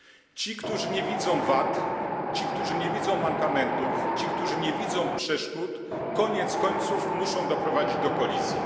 Ci którzy nie widzą wad, ci którzy nie widzą mankamentów, ci którzy nie widzą przeszkód, koniec końców muszą doprowadzić do kolizji.